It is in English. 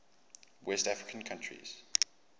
west african countries